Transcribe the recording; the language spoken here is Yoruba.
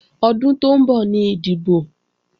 Ọdún tó ń bọ̀ ni ìdìbò